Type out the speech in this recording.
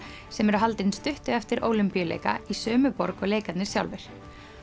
sem eru haldin stuttu eftir Ólympíuleika í sömu borg og leikarnir sjálfir